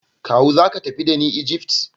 Kawu zaka tafi dani Egypt?